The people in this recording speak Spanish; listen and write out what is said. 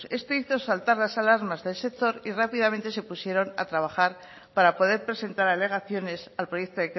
esto hizo saltar las alarmas del sector y rápidamente se pusieron a trabajar para poder presentar alegaciones al proyecto